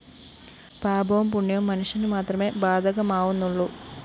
പാപവും പുണ്യവും മനുഷ്യനുമാത്രമേ ബാധകമാവുന്നുള്ളൂ